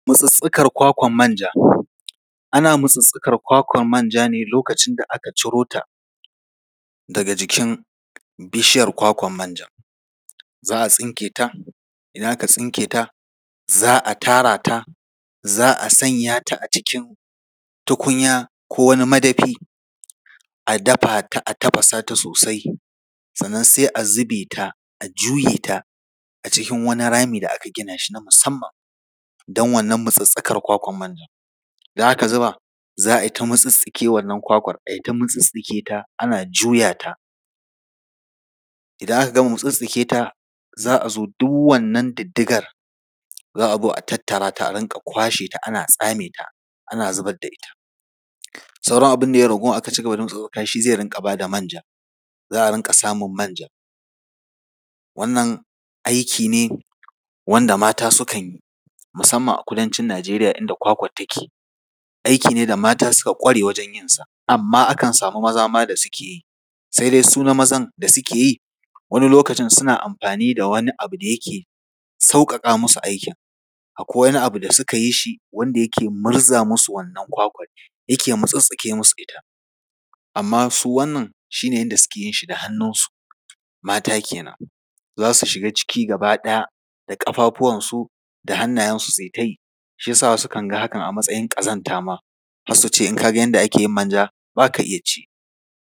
Mutsuttsukar kwakwar manja. Ana Mutsuttsukar kwakwar manja ne lokacin da aka ciro ta daga jikin bishiyar kwakwar manja. Za a tsinke ta, idan aka tsinke ta, za a tara ta, za a sanya ta a cikin tukunya ko wani madafi, a dafa ta, a tafasa ta sosai. Sannan sai a zube ta, a juye ta a cikin wani rami da aka gina shi na musamman, don Mutsuttsukar wannan kwakwar manjan. Idan aka zuba, za a yi ta Mutsuttsuke wannan kwakwar manjan, a yi ta mutsuttsuke ta ana juya ta. Idan aka gama mutsuttsuke ta, za a zo duk wannan diddigar, za a zo a tattara ta a rinƙa kwashe ta, a tsame ta, ana zubar da ita. Sauran abin da ya yi ragowa da aka mutsuttsuka shi ne zai rinƙa ba da manja, za a rinƙa samun manja. Wannan aiki ne wanda mata sukan yi, musamman a kudancin Nigeria inda kwakwar take. Aiki ne da mata suka ƙware wajen yinsa. Amma akan samu maza ma da suke yi, sai dai su na mazan da suke yi, wani lokaci suna amfani da wani abu da yake sauƙaƙa musu aikin. Akwai wani abu da suka yi shi, wanda yake murza musu wannan kwakwar, yake mutsuttsuke musu ita. Amma su wannan, su ne suke yinshi da hannunsu, mata kenan! za su shiga ciki gaba ɗaya, da ƙafafuwansu da hannayensu su yi ta yi, shi ya sa wasu suke ganin hakan a matsayin ƙazanta ma, har su ce, in ka ga yadda ake yin manja, ba ka iya ci.